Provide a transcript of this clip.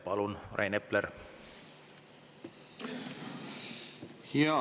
Palun, Rain Epler!